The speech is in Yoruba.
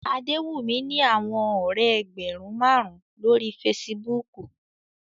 Adewumi ni awọn ọrẹ ẹgbẹrun marun lori Fèsìbúukù